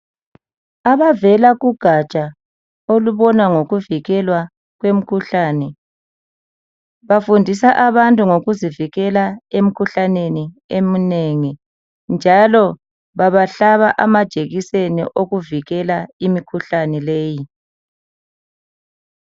Abavela kugatsha olubona ngovikelwa kwemkhuhlane bafundisa abantu ngokuzivikela emikhuhlaneni eminengi njalo babahlaba ama jekiseni okuvikela imikhuhlane leyi.